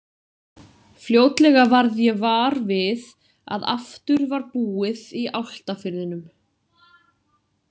Fljótlega varð ég var við að aftur var búið í Álftafirðinum.